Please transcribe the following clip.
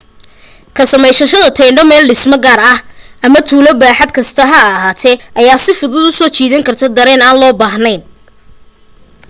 ka samaysashada teendho meel dhisme gaara ah ama tuulo baaxad kasta ha lahaatee ayaa si fuduud u soo jiidan karta dareen aan loo baahnayn